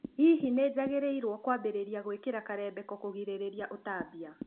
Hihi nĩnjagĩrĩirwo kwambĩrĩria gũĩkĩra karembeko kugirĩrĩria ũtambia?